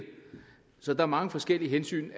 så er mange forskellige hensyn